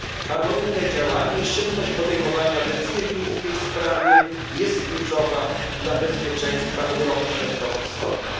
Harmonijne działanie i szybkość podejmowania decyzji w tej sprawie jest kluczowa dla bezpieczeństwa Europy Środkowo Wschodniej.